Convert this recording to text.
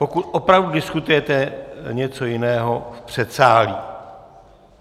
Pokud opravdu diskutujete něco jiného - v předsálí!